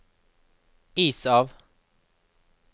is av